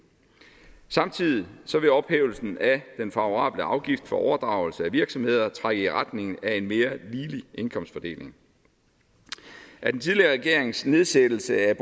samtidig vil ophævelsen af den favorable afgift for overdragelse af virksomheder trække i retning af en mere ligelig indkomstfordeling at den tidligere regerings nedsættelse af